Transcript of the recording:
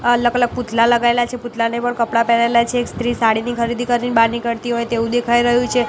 અલગ અલગ પૂતલા લગાઇલા છે પૂતલાને પણ કપડા પહેરાઇલા છે એક સ્ત્રી સાડીની ખરીદી કરી બાર નીકળતી હોય તેવુ દેખાય રહ્યુ છે.